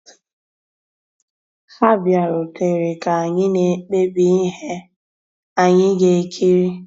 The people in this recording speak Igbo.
Há bìàrùtérè ká ànyị́ ná-èkpébí íhé ànyị́ gà-èkírí.